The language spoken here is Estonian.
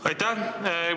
Aitäh!